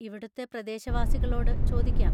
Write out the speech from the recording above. ഇവിടുത്തെ പ്രദേശവാസികളോട് ചോദിക്കാം.